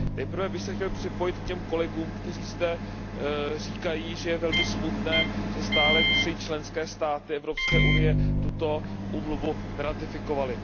Nejprve bych se chtěl připojit k těm kolegům, kteří zde říkají, že je velmi smutné, že stále tři členské státy Evropské unie tuto úmluvu neratifikovaly.